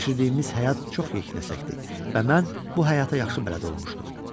Keçirdiyimiz həyat çox yeknəsəkdir və mən bu həyata yaxşı bələd olmuşdum.